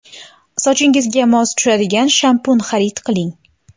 Sochingizga mos tushadigan shampun xarid qiling.